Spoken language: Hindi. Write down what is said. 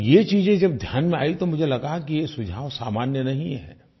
और ये चीजें जब ध्यान में आयी तो मुझे लगा कि ये सुझाव सामान्य नहीं हैं